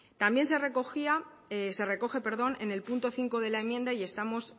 también se recoge en el punto cinco de la enmienda y